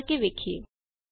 ਆਓ ਕਰ ਕੇ ਦੇਖਿਏ